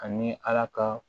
Ani ala ka